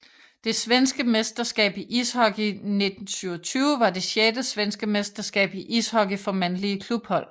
Det svenske mesterskab i ishockey 1927 var det sjette svenske mesterskab i ishockey for mandlige klubhold